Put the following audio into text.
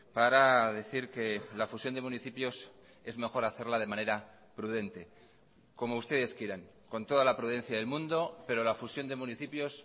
para decir que la fusión de municipios es mejor hacerla de manera prudente como ustedes quieran con toda la prudencia del mundo pero la fusión de municipios